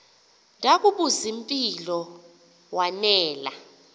ndakubuz impilo wanela